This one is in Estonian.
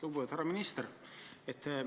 Lugupeetud härra minister!